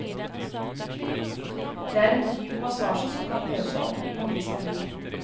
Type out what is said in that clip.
Det er en dyp massasje som kan løse opp i mange spenninger.